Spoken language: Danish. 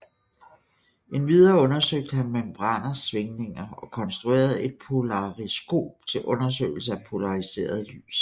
Endvidere undersøgte han membraners svingninger og konstruerede et polariskop til undersøgelse af polariseret lys